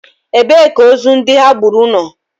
Ebee ka ozu ndị ha gburu nọ?